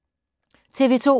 TV 2